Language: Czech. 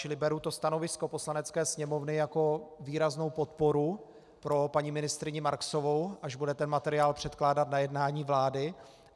Čili beru to stanovisko Poslanecké sněmovny jako výraznou podporu pro paní ministryni Marksovou, až bude ten materiál předkládat na jednání vlády.